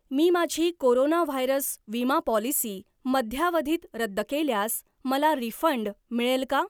मी माझी corona virus विमा policy मध्यावधीत रद्द केल्यास मला रिफंड मिळेल का?